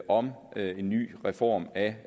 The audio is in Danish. om en ny reform af